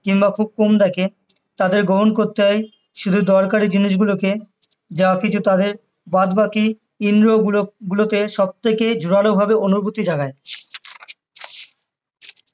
কিংবা খুব কম দ্যাখে তাদের গ্রহণ করতে হয় শুধু দরকারি জিনিসগুলো কে যা হোক কিছু তাদের বাদবাকি ইন্দ্রিয় গুলো গুলোতে সবথেকে জোরালো ভাবে অনুভূতি জাগায়